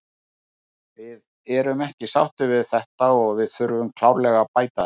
Við erum ekki sáttir við þetta og við þurfum klárlega að bæta þetta.